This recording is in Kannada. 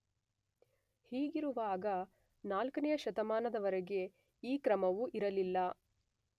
ಹೀಗಿರುವಾಗ 4ನೆಯ ಶತಮಾನದವರೆಗೆ ಈ ಕ್ರಮವು ಇರಲಿಲ್ಲ.